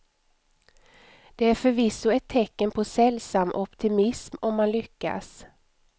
Det är förvisso ett tecken på sällsam optimism om man lyckas.